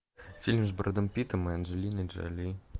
фильм с брэдом питтом и анджелиной джоли